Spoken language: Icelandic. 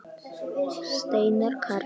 Steinar Karl.